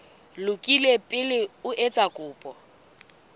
lokile pele o etsa kopo